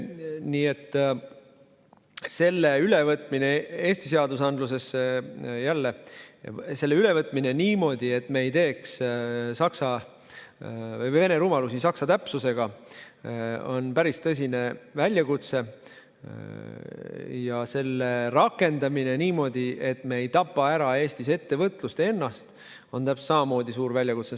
Nii et selle ülevõtmine Eesti seadusandlusesse niimoodi, et me ei teeks vene rumalusi saksa täpsusega, on päris tõsine väljakutse ja selle rakendamine niimoodi, et me ei tapaks Eestis ettevõtlust, on täpselt samamoodi suur väljakutse.